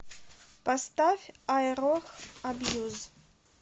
поставь айрох абьюз